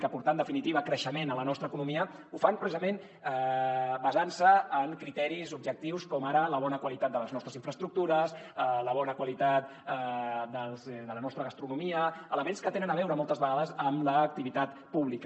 a aportar en definitiva creixement a la nostra economia ho fan precisament basant se en criteris objectius com ara la bona qualitat de les nostres infraestructures la bona qualitat de la nostra gastronomia elements que tenen a veure moltes vegades amb l’activitat pública